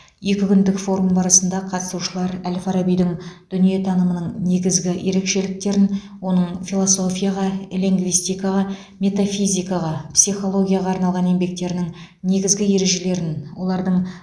екі күндік форум барысында қатысушылар әл фарабидің дүниетанымының негізгі ерекшеліктерін оның философияға лингвистикаға метафизикаға психологияға арналған еңбектерінің негізгі ережелерін олардың